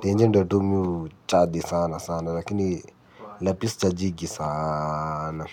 Tenje ndo tu mimi huchaji sana sana. Lakini lapi sichajingi sana.